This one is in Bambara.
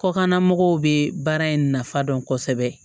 Kɔklamɔgɔw be baara in nafa dɔn kosɛbɛ